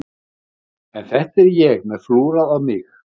En þetta er ég með flúrað á mig.